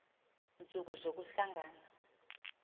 ntsuku zoku hlangana